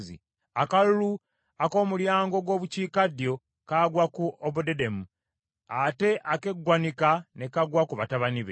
Akalulu ak’Omulyango ogw’Obukiikaddyo kagwa ku Obededomu, ate ak’eggwanika ne kagwa ku batabani be.